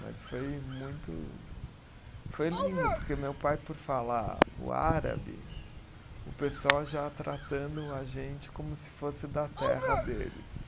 Mas foi muito. Foi lindo, porque meu pai, por falar o árabe, o pessoal já tratando a gente como se fosse da terra deles.